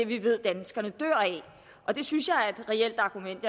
vi ved at danskerne dør af det synes jeg er et reelt argument